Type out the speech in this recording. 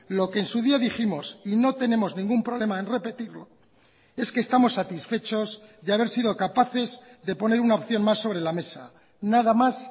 lo que en su día dijimos y no tenemos ningún problema en repetirlo es que estamos satisfechos de haber sido capaces de poner una opción más sobre la mesa nada más